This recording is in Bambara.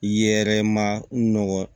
Yɛrɛ ma nɔgɔ